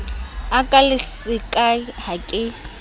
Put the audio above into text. a ka lesaka ha ke